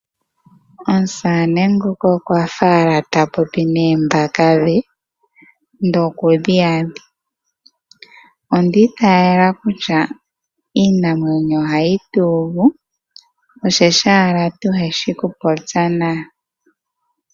Omusamane nguka okwa fa owala ta popi noombaka dhe, ndele okudhi na odhindji. Onda itayela kutya iinamwenyo ohayi tu uvu, oshoka owala kaatu shi okupopya nayo.